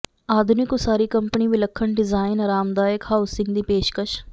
ਆਧੁਨਿਕ ਉਸਾਰੀ ਕੰਪਨੀ ਵਿਲੱਖਣ ਡਿਜ਼ਾਈਨ ਆਰਾਮਦਾਇਕ ਹਾਊਸਿੰਗ ਦੀ ਪੇਸ਼ਕਸ਼